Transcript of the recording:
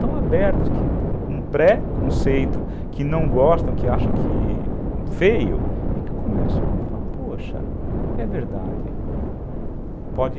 Tão abertas que um preconceito, que não gostam, que acham que é feio, e que começam a falar, poxa, é verdade.